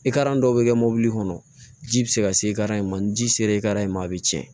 dɔw bɛ kɛ mobili kɔnɔ ji bɛ se ka se ka ma ni ji se re ye ka in ma a bɛ tiɲɛ